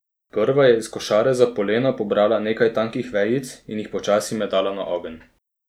Prva je iz košare za polena pobrala nekaj tankih vejic in jih počasi metala na ogenj.